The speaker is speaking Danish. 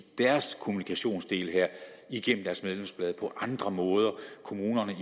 deres kommunikationsdel her igennem deres medlemsblad på andre måder kommunerne i